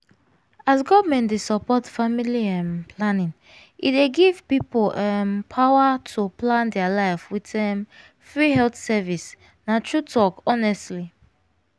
as government dey support family um planning e dey give people um power to plan their life with um free health service na true talk honestly.